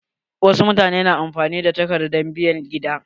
Wasu mutane na amfani da takardar bayan gida.